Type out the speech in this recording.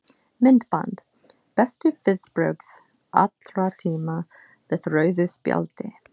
Myndband: Bestu viðbrögð allra tíma við rauðu spjaldi?